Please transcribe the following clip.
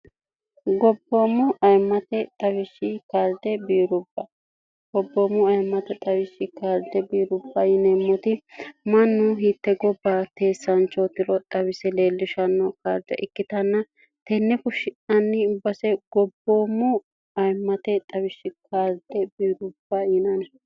gobboommo aimate xwishshi kde biirubbagobboommo ayimmate xawishshi kaalde biirubba yineemmoti mannu hitte gobba teessaanchoo tiro xawise leellishanno kaarje ikkitanna tenne kushshianni base gobboommo ayimmate xawishshi kaalde biirubba yinani